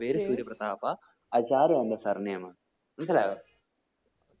പേര് സൂര്യപ്രദാപ. ആചാര്യ എന്റെ surname അ മനസിലായോ?